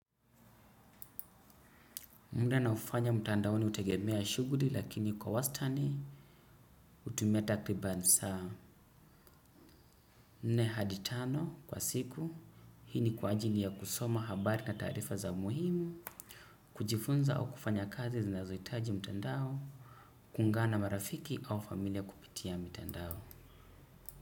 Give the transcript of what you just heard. Muda naofanya mtandaoni utegemea shughuri lakini kwa wastani utumia taklibani saa. Nne hadi tano kwa siku. Hii ni kwa ajili ya kusoma habari na taarifa za muhimu. Kujifunza au kufanya kazi zinazohitaji mtandao. Kungana marafiki au familia kupitia mtandao.